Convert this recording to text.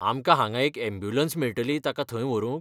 आमकां हांगा एक अँब्यूलंस मेळटली ताका थंय व्हरूंक?